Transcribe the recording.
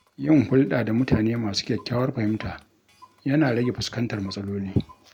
Yin hulɗa da mutane masu kyakkyawar fahimta yana rage fuskantar matsaloli.